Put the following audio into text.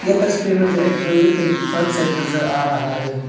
ये तस्वीर मुझे एक बिल्डिंग का फ्रंट साइड नजर आ रहा है।